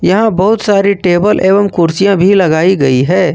यहां बहुत सारी टेबल एवं कुर्सियां भी लगाई गई है।